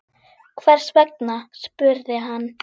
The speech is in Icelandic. Hvers vegna? spurði hann.